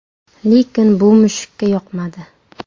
Lekin bu mushukka yoqmadi.